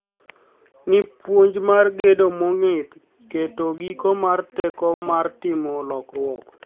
ni puonj mar gedo mong'ith keto giko mar teko mar timo lokruok.